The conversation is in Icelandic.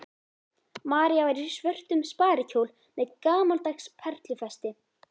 María var í svörtum sparikjól með gamaldags perlufesti.